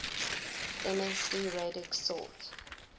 msd radix sort